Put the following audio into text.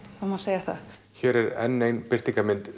það má segja það hér er enn ein birtingarmynd